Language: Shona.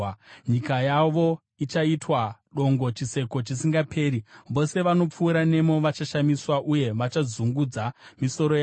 Nyika yavo ichaitwa dongo, chiseko chisingaperi; vose vanopfuura nemo vachashamiswa uye vachadzungudza misoro yavo.